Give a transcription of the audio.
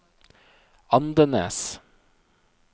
Andenes